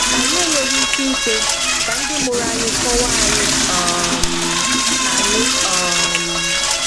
Anyị enweghị ike ikwe ka ndị mụrụ anyị kọwaa anyị. um anyị. um